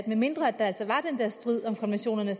medmindre der altså var den der strid om konventionerne